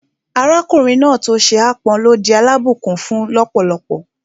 Arákùnrin náà tó ṣe ápọn ló di alábùnkún-fún lọ́pọ̀lọ́pọ̀